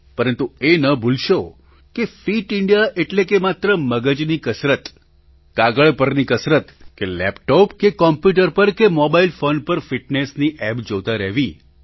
પરંતુ એ ન ભૂલશો કે ફિટ ઇન્ડિયા એટલે નહીં કે માત્ર મગજની કસરત કાગળ પરની કસરત કે લેપટોપ કે કમ્પ્યૂટર પર કે મોબાઇલ ફૉન પર ફિટનેસની ઍપ જોતા રહેવી